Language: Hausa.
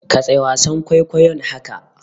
Katse wasan kwaikwayon haka!